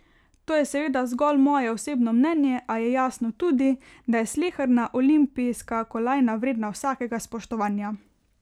To je seveda zgolj moje osebno mnenje, a jasno je tudi, da je sleherna olimpijska kolajna vredna vsakega spoštovanja.